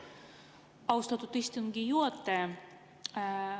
Austatud istungi juhataja!